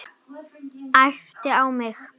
Æpti á mig.